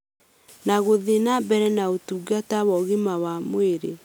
na gũthiĩ na mbere na ũtungata wa ũgima wa mwĩrĩ